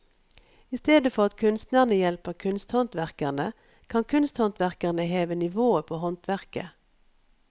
I stedet for at kunstnerne hjelper kunsthåndverkerne, kan kunsthåndverkerne heve nivået på håndverket.